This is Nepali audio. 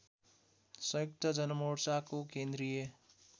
संयुक्त जनमोर्चाको केन्द्रीय